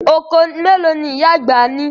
Okòó mélòó ni ìyá àgbà ní?